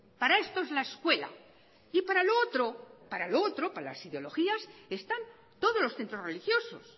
para esto es la escuela y para lo otro para lo otro para las ideologías están todos los centros religiosos